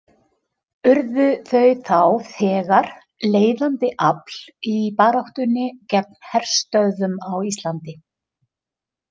Urðu þau þá þegar leiðandi afl í baráttunni gegn herstöðvum á Íslandi.